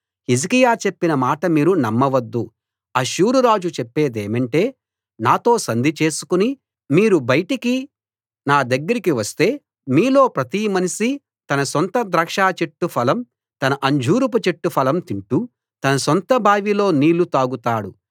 హిజ్కియా చెప్పిన మాట మీరు నమ్మవద్దు అష్షూరురాజు చెప్పేదేమంటే నాతో సంధి చేసుకుని మీరు బయటికి నా దగ్గరికి వస్తే మీలో ప్రతి మనిషీ తన సొంత ద్రాక్షచెట్టు ఫలం తన అంజూరపు చెట్టు ఫలం తింటూ తన సొంత బావిలో నీళ్లు తాగుతాడు